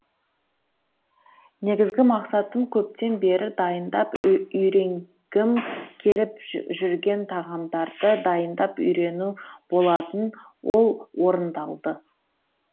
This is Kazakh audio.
негізгі мақсатым көптен бері дайындап үйренгім келіп жүрген тағамдарды дайындап үйрену болатын ол орындалды